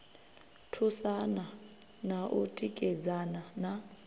thusana na u tikedzana na